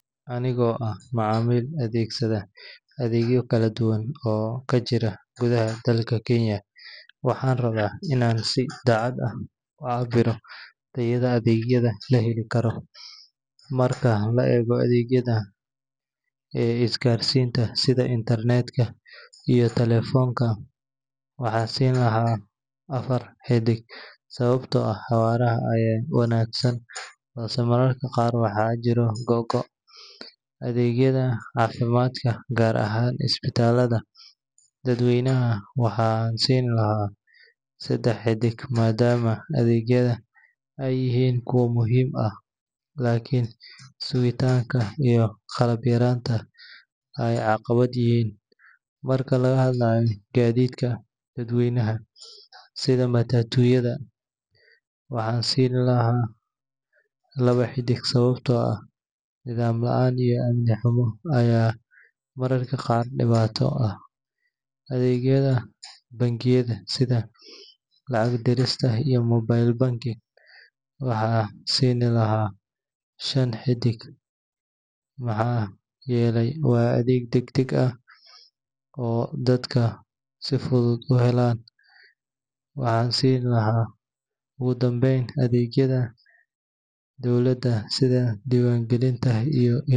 Anigoo ah macaamiil adeegsaday adeegyo kala duwan oo ka jira gudaha dalka Kenya, waxaan rabaa inaan si daacad ah u cabbiro tayada adeegyada la heli karo. Marka la eego adeegyada isgaarsiinta sida internet-ka iyo taleefoonka, waxaan siin lahaa afar xiddig sababtoo ah xawaaraha ayaa wanaagsan balse mararka qaar waxaa jira go’go’. Adeegyada caafimaadka, gaar ahaan isbitaalada dadweynaha, waxaan siin lahaa saddex xiddig maadaama adeegyada ay yihiin kuwo muhiim ah laakiin sugitaanka iyo qalab yaraanta ay caqabad yihiin. Marka laga hadlayo gaadiidka dadweynaha, sida matatu-yada, waxaan siin lahaa laba xiddig sababtoo ah nidaam la’aan iyo amni xumo ayaa mararka qaar dhibaato leh. Adeegyada bangiyada, sida lacag dirista iyo mobile banking, waxaan siin lahaa shan xiddig maxaa yeelay waa adeeg degdeg ah oo dadku si fudud u helaan. Ugu dambayn, adeegyada dowladda.